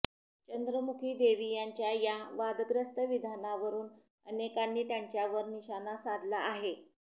चंद्रमुखी देवी यांच्या या वादग्रस्त विधानवरून अनेकांनी त्यांच्यावर निशाणा साधला आहे